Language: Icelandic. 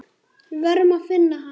Við verðum að finna hann.